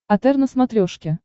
отр на смотрешке